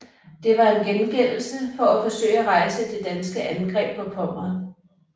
Det var en gengældelse for at forsøge at rejse det danske angreb på Pommern